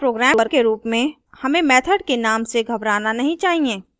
अतः programmer के रूप में हमें method के name से घबराना नहीं चाहिए